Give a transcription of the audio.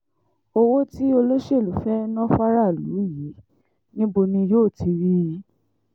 owó tí olóṣèlú fẹ́ẹ́ ná fáráàlú yìí níbo ni yóò ti rí i